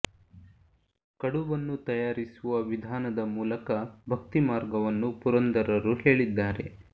ಕಡುಬನ್ನು ತಯಾರಿಸುವ ವಿಧಾನದ ಮೂಲಕ ಭಕ್ತಿ ಮಾರ್ಗವನ್ನು ಪುರಂದರರು ಹೇಳಿದ್ದಾರೆ